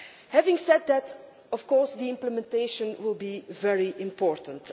Having said that, of course the implementation will be very important.